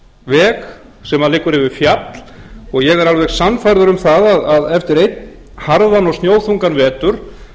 hér er um að ræða veg sem liggur yfir fjall og ég er alveg sannfærður um það að eftir einn harðan og snjóþungan vetur